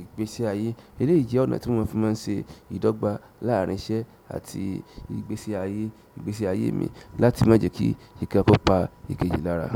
ìgbésí ayé. Eléyìí jẹ́ ọ̀nà tí mo fi máa ń ṣe ìdọ́gba láàrin iṣẹ́ àti ìgbésí ayé, ìgbésí ayé mi láti má jẹ́ kí ikàn kó pa ìkejì lára.